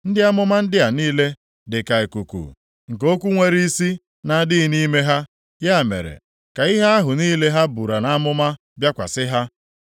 Ndị amụma ndị a niile dịka ikuku, nke okwu nwere isi na-adịghị nʼime ha. Ya mere, ka ihe ahụ niile ha buru nʼamụma bịakwasị ha.”